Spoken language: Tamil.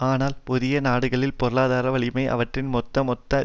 ஆனால் புதிய நாடுகளின் பொருளாதார வலிமை அவற்றின் மொத்த மொத்த